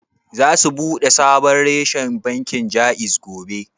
Za su bude sabon reshen bankin Jaiz gobe?